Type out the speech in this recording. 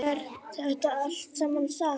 Er þetta allt saman satt?